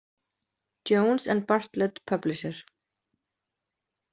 Jones and Bartlett Publisher.